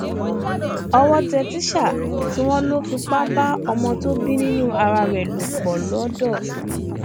owó tẹ tísà tí wọn lò ń fipá bá ọmọ tó bí nínú ara ẹ lò pọ lọńdọ